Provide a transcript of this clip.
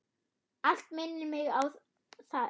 Allt minnir mig á þig.